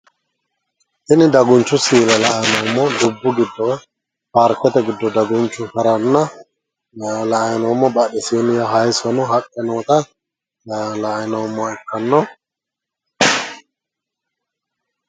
Tini dagunchu siile la"anni noommo dubbu giddo woy paarikete giddo dagunchu haranna la'"ay noommo badhesiinni haayisono haqqe noota la''ay noommoha ikkanno